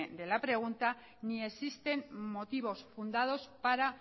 de la pregunta ni existen motivos fundados para